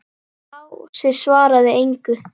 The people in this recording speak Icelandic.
Lási svaraði engu.